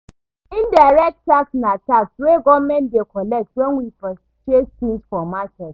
Indirect tax na tax wey government dey collect when we purchase things for market